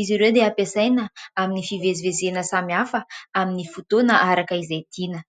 izy ireo dia hampiasaina amin'ny fivezivezena samy hafa amin'ny fotoana araka izay tiana.